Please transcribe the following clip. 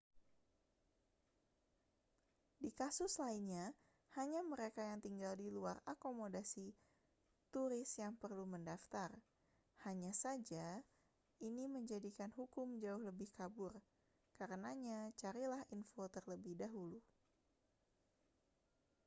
di kasus lainnya hanya mereka yang tinggal di luar akomodasi turis yang perlu mendaftar hanya saja ini menjadikan hukum jauh lebih kabur karenanya carilah info terlebih dulu